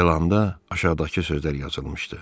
Elanında aşağıdakı sözlər yazılmışdı.